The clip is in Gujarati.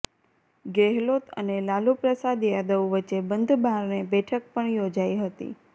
ગેહલોત અને લાલુપ્રસાદ યાદવ વચ્ચે બંધબારણે બેઠક પણ યોજાઈ હતી